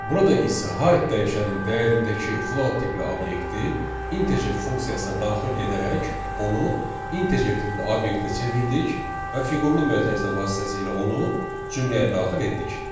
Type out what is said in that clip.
Burada isə high dəyişənin dəyərindəki float tipli obyekti integer funksiyasına daxil edərək onu integer tipli obyektə çevirdik və fiqurlu mötərizə vasitəsilə onu cümləyə daxil etdik.